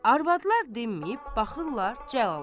Arvadlar dinməyib, baxırlar Cəlala.